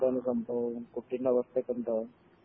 എന്താണ് സംഭവം കുട്ടിൻ്റെ അവസ്ഥയൊക്കെ എന്താ